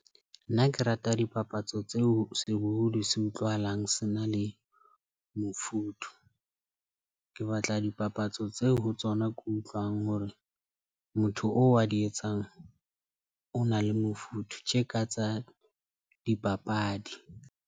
Nna ke rata dipapatso tseo sebohodi se utlwahalang se na le mofuthu. Ke batla dipapatso tseo ho tsona ke utlwang hore motho oo a di etsang o na le mofuthu tje ka tsa dipapadi.